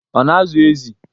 Ọ na-azụ ezi?